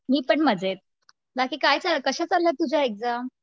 मी पण मज्जेत. बाकी काय चाललंय? कश्या चालल्या तुझ्या एक्झाम